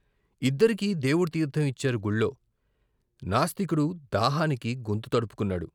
ఇద్దరికీ దేవుడి తీర్థం ఇచ్చారు గుళ్ళో. నాస్తికుడు దాహానికి గొంతు తడుపుకున్నాడు.